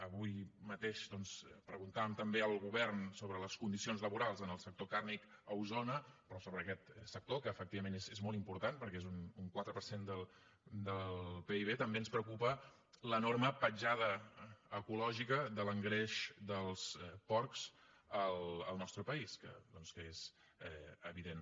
avui mateix doncs preguntàvem també al govern sobre les condicions laborals en el sector carni a osona però sobre aquest sector que efectivament és molt important perquè és un quatre per cent del pib també ens preocupa l’enorme petjada ecològica de l’engreix dels porcs al nostre país que és evident